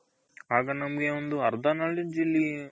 ಆಗ ನಮ್ಗೆ ಒಂದು ಅರ್ದ knowledge ಇಲ್ಲಿ